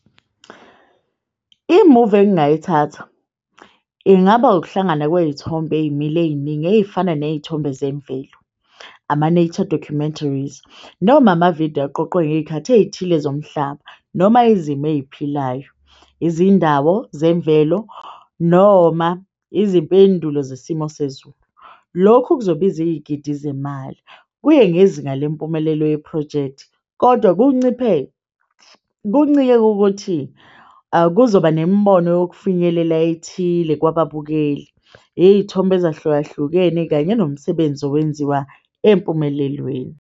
Imuvi engingayithatha ingaba ukuhlangana kwey'thombe ey'mile ey'ningi ey'fana ney'thombe zemvelo. Ama-nature documentaries noma amavidiyo aqoqwe ngey'khathi ey'thile zomhlaba noma izimo ey'philayo, izindawo zemvelo noma izimpendulo zesimo sezulu. Lokhu kuzobiza iy'gidi zemali, kuye ngezinga lempumelelo yephrojekthi kodwa kunciphe kuncike kukuthi kuzoba nemibono yokufinyelela ethile kwababukeli, iy'thombe ezahlukahlukene kanye nomsebenzi owenziwa empumelelweni.